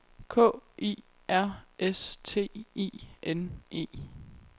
K I R S T I N E